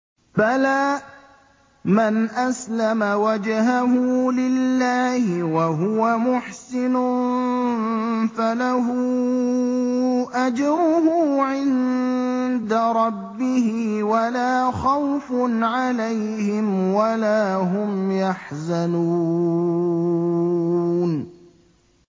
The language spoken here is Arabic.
بَلَىٰ مَنْ أَسْلَمَ وَجْهَهُ لِلَّهِ وَهُوَ مُحْسِنٌ فَلَهُ أَجْرُهُ عِندَ رَبِّهِ وَلَا خَوْفٌ عَلَيْهِمْ وَلَا هُمْ يَحْزَنُونَ